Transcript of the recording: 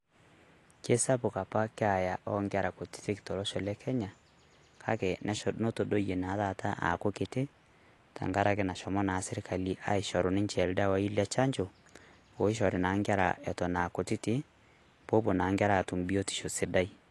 Kesapuk apa keeya onkera kutitik tolosho le Kenya, kake notodoyie na taata aaku kiti tankaraki nashomo na sirkali ashoru ninche ildawai le chanjo ,oishori na nkera oton akutiti, popuo na nkera atum biotisho sidai.